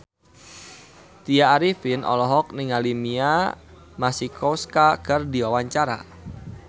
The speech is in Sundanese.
Tya Arifin olohok ningali Mia Masikowska keur diwawancara